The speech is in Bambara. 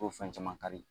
O fɛn caman kari